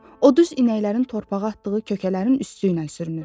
O düz inəklərin torpağa atdığı kökələrin üstüylə sürünür.